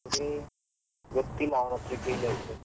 Degree ಗೊತ್ತಿಲ್ಲ, ಅವನ್ತ್ರ ಕೇಳಿ ಹೇಳ್ತೇನೆ.